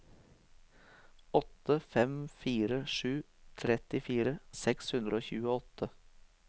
åtte fem fire sju trettifire seks hundre og tjueåtte